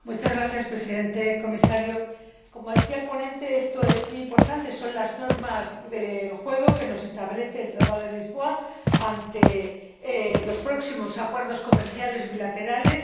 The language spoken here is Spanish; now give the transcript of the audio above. Señor Presidente, señor Comisario, como decía el ponente, esto es muy importante son las normas del juego que establece el Tratado de Lisboa para los próximos acuerdos comerciales bilaterales